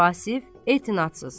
Vasif etinadsız.